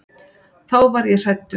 Þá varð ég hræddur.